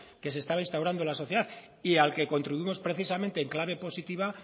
que se estaba instaurando en la sociedad y al que contribuimos precisamente en clave positiva